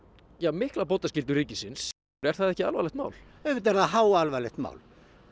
mikla bótaskyldu ríkisins er það ekki alvarlegt mál auðvitað er það háalvarlegt mál